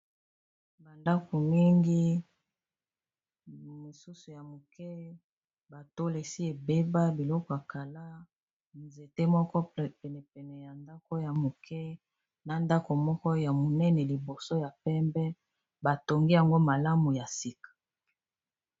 Ba ndako mingi mosusu ya moke ba tol esi ebeba biloko akala nzete moko pene pene ya ndako ya moke na ndako moko ya monene liboso ya pembe batongi yango malamu ya sika.